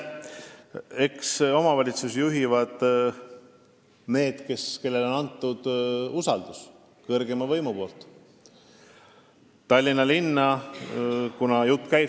Eks omavalitsusi juhivad need, kellele on kõrgeim võim usalduse andnud.